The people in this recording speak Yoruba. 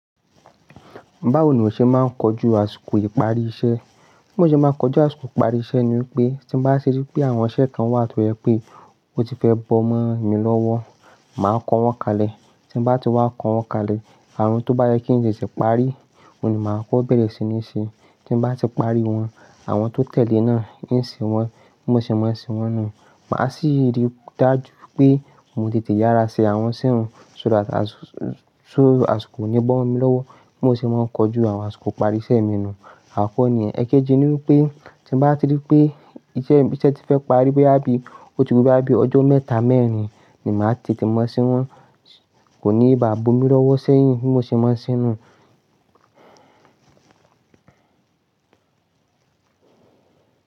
Báwo ni o ṣe máa ń kojú àsìkò ìparí iṣẹ́? Bí mo ṣe máa ń kojú àsìkò ìparí iṣẹ́ ni wípé tí mo bá rí pé àwọn iṣẹ́ kan wà tó je pé ó ti fẹ́ bọ̀ mọ́ mi lọ́wọ́, màá kọ wọ́n kalẹ̀. Tí mo bá ti wá kọ wọ́n kalẹ̀, àwon tó bá jẹ́ kí n tètè parí, òní màá kọ́ ọ́ bẹ̀rẹ̀ sí ní ṣe. Tí mo bá ti parí wọn, àwọn tó tẹ̀lé náà, ń ṣe wọn. Bí mo ṣe máa ń ṣe wọn nu, màá sì rí i dájú pé mo tètè yára ṣe àwọn iṣẹ́ un so that àsìkò ò ní bọ̀ mo mi lowo. Bí mo ṣe máa ń kojú àwọn àsìkò ìparí iṣẹ́ mi náà. Àkọ́kọ̀ ni yen. Èkejì ni wípé tí n báti rí pé iṣẹ́ tí fẹ́ parí bo ya bi oti ku boya bi ọjọ́ mẹ́ta, mẹ́rin emi ati tètè máa ṣe wọ́n. Kò ní bá bu mí lọ́wọ́ sẹ́yìn bí mo ṣe máa ń ṣe ẹ́ nu.